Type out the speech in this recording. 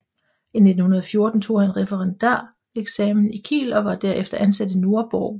I 1914 tog han referendareksamen i Kiel og var herefter ansat i Nordborg